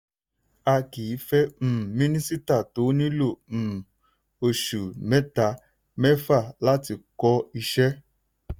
a kì í fẹ́ um minisita tó nílò um oṣù mẹ́ta-mẹ́fa láti kọ́ iṣẹ́.